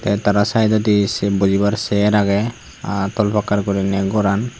teh tara saidodi seh bojibar seeyaar aage aa tol puccar guriney goran.